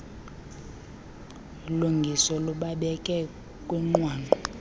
lungiso lubabeke kwinqwanqwa